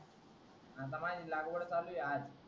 आता माझी लागवड चालू आहे आज